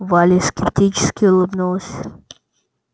валя скептически улыбнулась